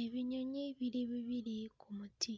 Ebinyonyi biri bibiri ku muti,